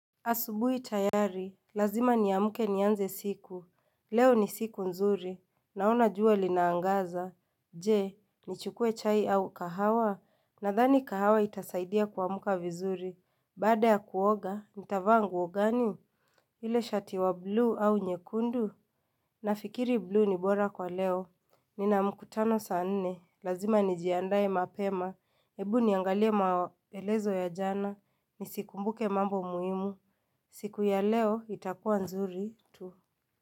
Asubuhi tayari, lazima niamke nianze siku, leo ni siku nzuri, naona jua linaangaza, je, nichukue chai au kahawa, nadhani kahawa itasaidia kuamka vizuri, baada ya kuoga, nitavaa nguo gani? Ile shati wa buluu au nyekundu, nafikiri buluu ni bora kwa leo, nina mkutano saa nne, lazima nijiandae mapema, ebu niangalie maelezo ya jana, nisikumbuke mambo muhimu, siku ya leo itakuwa nzuri tu.